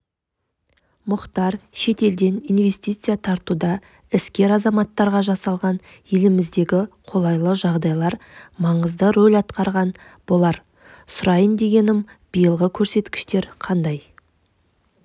мұхтар шетелден инвестиция тартуда іскер азаматтарға жасалған еліміздегі қолайлы жағдайлар маңызды рөл атқарған болар сұрайын дегенім биылғы көрсеткіштер қандай